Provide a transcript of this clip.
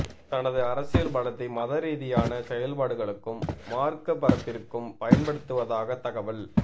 தனது அரசியல் பலத்தை மத ரீதியான செயல்பாடுகளுக்கும் மார்க்க பரப்பிற்கும் பயன்படுத்துவதாக தகவல்